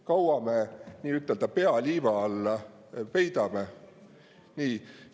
Kaua me pea liiva alla peidame?